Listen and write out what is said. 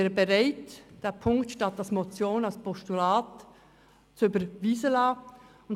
Ich bin bereit, Punkt 1 anstelle einer Motion als Postulat überweisen zu lassen.